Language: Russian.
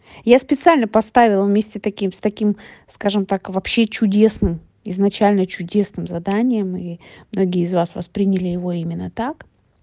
я специально поставила вместе таким с таким скажем так вообще чудесным изначально чудесным заданием и многие из вас восприняли его именно так